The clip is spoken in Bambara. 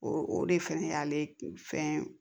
O o de fɛnɛ y'ale fɛn